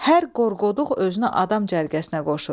Hər qorqoduq özünə adam cərgəsinə qoşur.